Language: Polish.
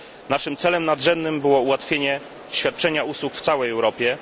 Naszym celem nadrzędnym było ułatwienie świadczenia usług w całej Europie.